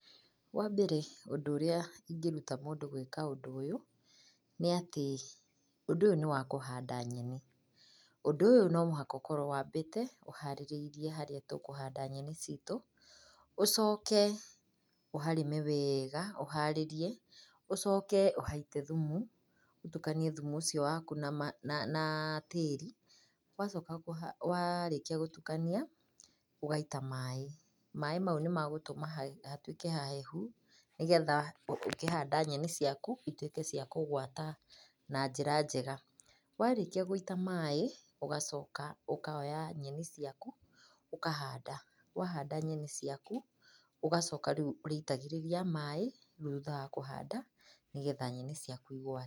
Wambere ũndũ ũrĩa ingĩruta mũndũ gwĩka ũndũ ũyũ, nĩ atĩ, ũndũ ũyũ nĩ wa kũhanda nyeni. Ũndũ ũyũ no mũhaka ũkorwo waambĩte ũharĩirie harĩa tũkũhanda nyeni cĩtũ, ũcooke ũharĩme weega ũharĩrie, ũcooke ũhaite thumu, ũtũkanie thumu ũcio waku na ma, na tĩĩri. Ũcooke warĩkia gũtukania, ũgaita maaĩ. Maaĩ mau nĩ megũtũma hatuĩke hahehu nĩgetha ũkĩhaanda nyeni ciaku ituĩke cia kũgwata na njĩra njega. Warĩkia gũita maaĩ, ũgacooka ũkoya nyeni ciaku ũkahanda. Wahanda nyeni ciaku, ũgacooka rĩu ũrĩitagĩrĩria maaĩ thutha wa kũhanda ni getha nyeni ciaku igwate.